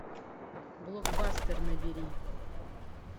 блокбастер набери